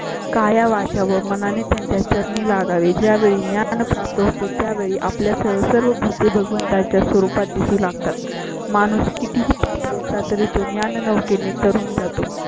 काया वाचा मनाने त्यांच्या चरणी लागावे. ज्या वेळी ज्ञान प्राप्त होती त्या वेळी आपल्या सर्व भूतें भगवंता च्या स्वरूपात दिसू लागतात. माणूस किती हि पापी असला तरी जुन्या नौके ने तरून जातो.